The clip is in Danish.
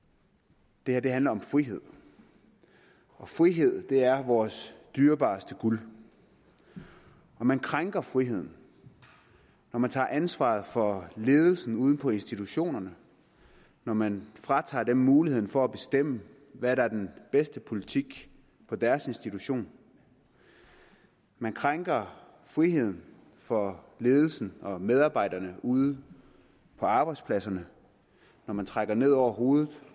det her handler om frihed og frihed er vores dyrebareste guld og man krænker friheden når man tager ansvaret fra ledelsen ude på institutionerne når man fratager dem muligheden for at bestemme hvad der er den bedste politik på deres institution man krænker friheden for ledelsen og medarbejderne ude på arbejdspladserne når man trækker rygepolitikken ned over hovedet